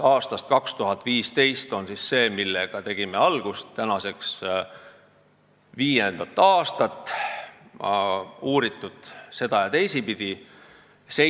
Aastal 2015 tegime algust kasemahla arendusega, mida on mitu aastat seda- ja teisipidi uuritud.